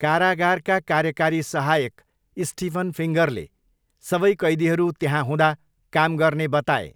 कारागारका कार्यकारी सहायक स्टिफन फिङ्गरले सबै कैदीहरू त्यहाँ हुँदा काम गर्ने बताए।